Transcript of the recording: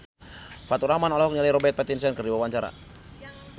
Faturrahman olohok ningali Robert Pattinson keur diwawancara